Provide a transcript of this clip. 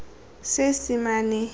seesemane